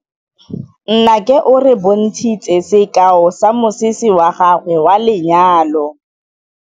Nnake o re bontshitse sekaô sa mosese wa gagwe wa lenyalo.